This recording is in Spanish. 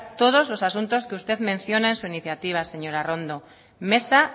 todos os asuntos que usted menciona en su iniciativa señora arrondo mesa